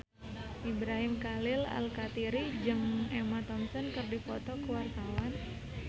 Ibrahim Khalil Alkatiri jeung Emma Thompson keur dipoto ku wartawan